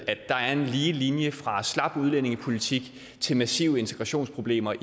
at der er en lige linje fra en slap udlændingepolitik til massive integrationsproblemer